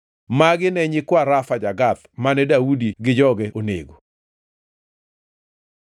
Magi ne nyikwa Rafa ja-Gath mane Daudi gi joge onego.